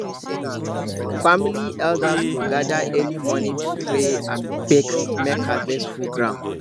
family elders go gather early morning to pray and beg make harvest full ground